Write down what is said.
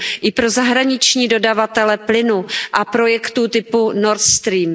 i pro zahraniční dodavatele plynu a projektům typu Nord Stream.